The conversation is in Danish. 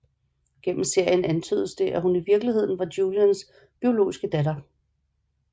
Gennem serien antydes det at hun i virkeligheden er Julians biologiske datter